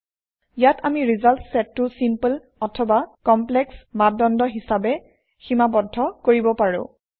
ইয়াত আমি ৰিজাল্ট চেটটো চিম্পল অথবা কমপ্লেক্স মাপ দন্দ হিচাপে সীমাবদ্ধ কৰিব পাৰোঁ